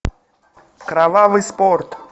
кровавый спорт